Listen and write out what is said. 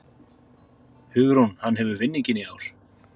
Hugrún: Hann hefur vinninginn í ár?